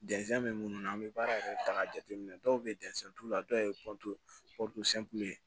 minnu na an bɛ baara kɛ ta k'a jateminɛ dɔw bɛ dɔw ye